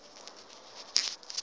ekhayelitsha